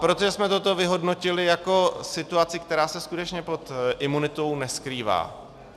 Proto jsme toto vyhodnotili jako situaci, která se skutečně pod imunitou neskrývá.